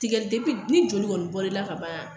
Tigɛli ni joli kɔni bɔr'i la ka ban